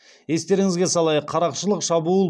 естеріңізге салайық қарақшылық шабуыл